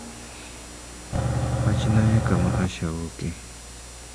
Wachnae kuma Asha wuoke.